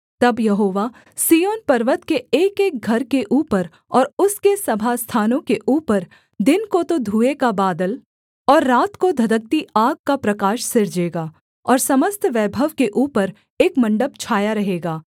तब यहोवा सिय्योन पर्वत के एकएक घर के ऊपर और उसके सभास्थानों के ऊपर दिन को तो धुएँ का बादल और रात को धधकती आग का प्रकाश सिरजेगा और समस्त वैभव के ऊपर एक मण्डप छाया रहेगा